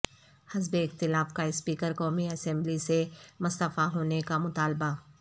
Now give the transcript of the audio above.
حزب اختلاف کا اسپیکر قومی اسمبلی سے مستعفی ہونے کا مطالبہ